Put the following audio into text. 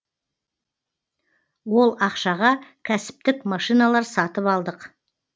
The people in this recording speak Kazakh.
ол ақшаға кәсіптік машиналар сатып алдық